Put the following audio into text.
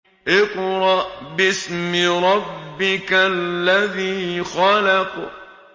اقْرَأْ بِاسْمِ رَبِّكَ الَّذِي خَلَقَ